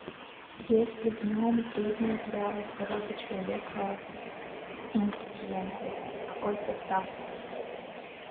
есть ли в нем вредные для здоровья человека ингредиенты какой состав